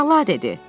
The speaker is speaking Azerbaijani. Əla dedi.